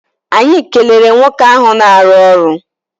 Anyị kelere nwoke ahụ na-arụ ọrụ.